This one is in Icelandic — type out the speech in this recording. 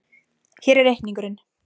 Hér er reikningurinn.